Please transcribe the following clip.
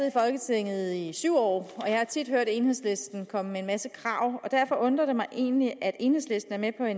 i folketinget i syv år og jeg har tit hørt enhedslisten komme med en masse krav derfor undrer det mig egentlig at enhedslisten er med